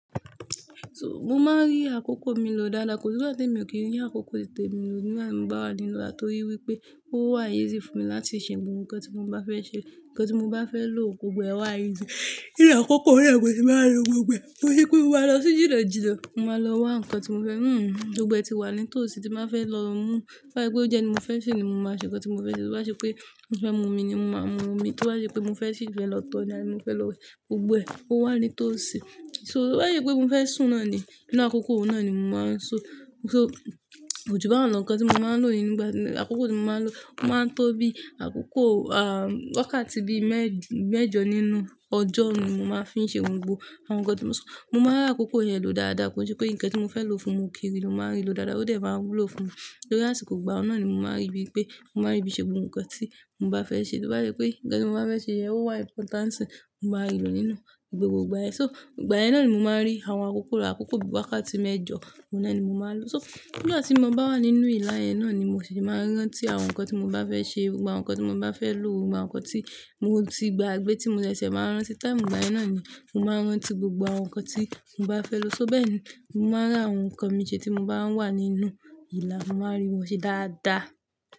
So mo máa ń rí àkókò mi lò dáadáa, ko sì gba tí èmi ò kí rí àkókò titè mi nínú àwọn ìgbà wa nínú ile, torí wípé ó wà easy fún mi láti ṣe gbogbo nkan tí mo bá fẹ́ ṣe. Ǹkan tí mo bá fẹ́ lò gbogbo ẹwà esay jẹ, ilẹ̀ àkókò náà kò sì máa lọ gbogbo e. Ko n se pe mo máa lọ sí jnínajinna, mo máa lọ wá ǹkan tí mo fẹ́. Hmm gbogbo ẹti wà ní tòsí tí máa fẹ́ lọ mú. Bá tí pé ó jẹ́ ni mo fẹ́ ṣe ni mo máa ṣe ǹkan tí mo fẹ́ ṣe. To ba ṣe pé mo fẹ́ mu omi ni mo máa mu omi. To ba ṣe pé mo fẹ́ ṣìí fẹ́ lọ tọ̀ ni mo fẹ́ lọ gbogbo ẹ, ó wà ní tòsí. So bá ṣe pé mo fẹ́ sùn náà ni, inú àkókò náà ni mo máa ń sùn. So ko ju ba un lo ǹkan tí mo máa ń lò nínú ìgbà, àkókò tí mo máa ń lò, ó máa ń tó bí àkókò ah wákàtí bí mẹ́j- mẹ́jọ nínú ọjọ́ ni mo máa fi ń ṣe ohun gbogbo àwọn ǹkan tí mo sùn. Mo máa ń rí àkókò yẹn lò dáadáa, ko o n se pé ǹkan tí mo fẹ́ lò fún òkere ló máa ń rí lò dáadáa, ó dẹ̀ máa ń wúlò fún mi. Tórí àsìkò ìgbà náà ni mo máa rí bí pé, mo máa rí bí ṣe gbogbo nkan tí mo bá fẹ́ ṣe. To ba ṣe pé ǹkan tí mo bá fẹ́ ṣe yẹn ó wà important, mo máa rí lò nínú gbogbo ìgbà ẹ. So ìgbà ẹ náà ni mo máa ń rí àwọn àkókò, àkókò bí i wákàtí mẹ́jọ, ọ̀nà ẹni mo máa ń lò. So nígbà tí mo bá wà nínú ìlà ẹ náà ni mo ṣì máa ń rántí àwọn ǹkan tí mo bá fẹ́ ṣe, gbogbo àwọn ǹkan tí mo bá fẹ́ lò, gbogbo àwọn ǹkan tí mo ti gbagbé tí mo ṣẹ̀ ṣẹ̀ máa ń rántí. Time ìgbàyen náà ni mo máa ń rántí gbogbo àwọn ǹkan tí mo bá fẹ́ lò. So bẹ́ẹ̀ ni mo máa rí àwọn ǹkan mí ṣe tí mo bá wà nínú ìle, mo máa rí wọn ṣe dáadáa.